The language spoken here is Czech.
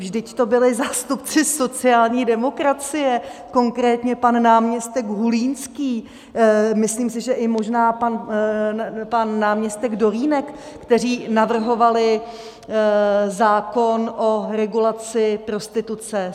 Vždyť to byli zástupci sociální demokracie, konkrétně pan náměstek Hulínský, myslím si, že možná i pan náměstek Dolínek, kteří navrhovali zákon o regulaci prostituce.